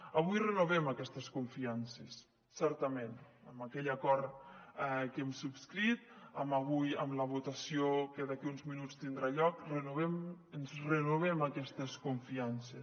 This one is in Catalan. avui renovem aquestes confiances certament amb aquell acord que hem subscrit avui amb la votació que d’aquí uns minuts tindrà lloc ens renovem aquestes confiances